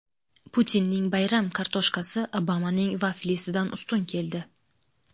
Putinning bayram kartoshkasi Obamaning vaflisidan ustun keldi.